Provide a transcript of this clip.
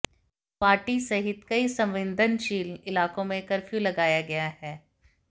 गुवाहाटी सहित कई संवेदनशील इलाकों में कर्फ्यू लगाया गया है